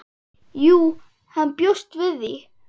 Jú, hann bjóst við því.